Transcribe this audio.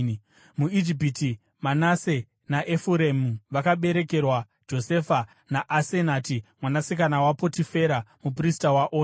MuIjipiti, Manase naEfuremu vakaberekerwa Josefa naAsenati mwanasikana waPotifera, muprista waOni.